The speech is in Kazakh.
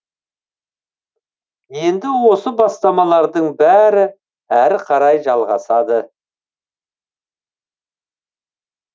енді осы бастамалардың бәрі әрі қарай жалғасады